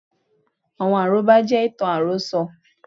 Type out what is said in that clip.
Àwọn àrọ́bá jẹ́ ìtàn àròso